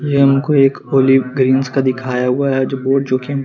ये हम को एक पोलिग्रींस का दिखाया हुआ है जो बोर्ड जो की --